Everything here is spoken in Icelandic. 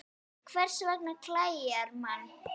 Hvers vegna klæjar mann?